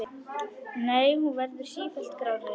Nei, hún verður sífellt grárri.